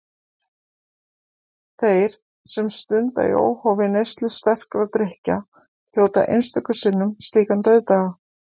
Þeir, sem stunda í óhófi neyslu sterkra drykkja, hljóta einstöku sinnum slíkan dauðdaga.